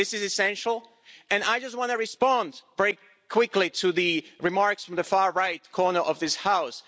This is essential, and I just want to respond very quickly to the remarks from the far-right corner of this house.